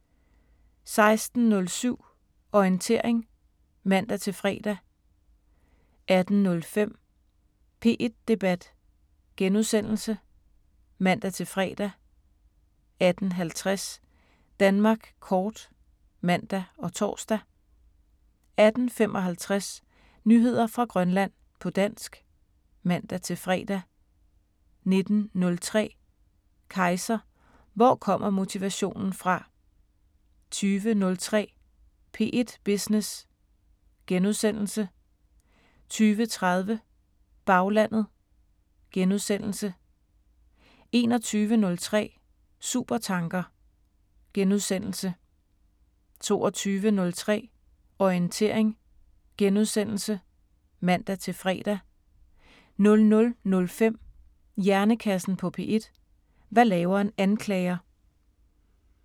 16:07: Orientering (man-fre) 18:05: P1 Debat *(man-fre) 18:50: Danmark Kort (man og tor) 18:55: Nyheder fra Grønland på dansk (man-fre) 19:03: Kejser: Hvor kommer motivationen fra? 20:03: P1 Business * 20:30: Baglandet * 21:03: Supertanker * 22:03: Orientering *(man-fre) 00:05: Hjernekassen på P1: Hvad laver en anklager?